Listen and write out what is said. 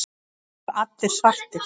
Þeir voru allir svartir.